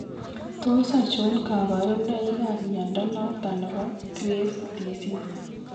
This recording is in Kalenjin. Tos achon kabarunaik ab mnyondo noton nebo Graves' disease